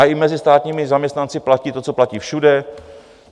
A i mezi státními zaměstnanci platí to, co platí všude.